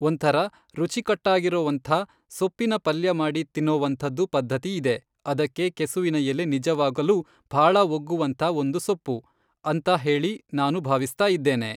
ಒಂಥರ ರುಚಿಕಟ್ಟಾಗಿರೋವಂಥ ಸೊಪ್ಪಿನ ಪಲ್ಯ ಮಾಡಿ ತಿನ್ನೋವಂಥದ್ದು ಪದ್ಧತಿ ಇದೆ ಅದಕ್ಕೆ ಕೆಸುವಿನ ಎಲೆ ನಿಜವಾಗಲೂ ಭಾಳ ಒಗ್ಗುವಂತಹ ಒಂದು ಸೊಪ್ಪು ಅಂತ ಹೇಳಿ ನಾನು ಭಾವಿಸ್ತಾ ಇದ್ದೇನೆ